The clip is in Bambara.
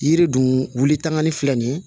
Yiri dun wuli tangani filɛ nin ye